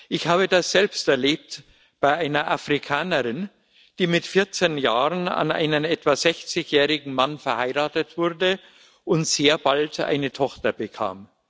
Ich habe das selbst bei einer Afrikanerin erlebt, die mit 14 Jahren an einen etwa 60 jährigen Mann verheiratet wurde und sehr bald eine Tochter bekam.